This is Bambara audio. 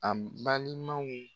A balimanw